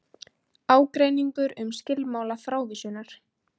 Ágreiningur um skilmála frávísunar